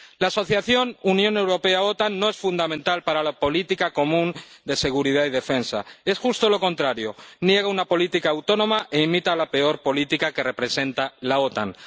La Asociación Unión Europea OTAN no es fundamental para la política común de seguridad y defensa, es justo lo contrario niega una política autónoma e imita la peor política que representa la OTAN.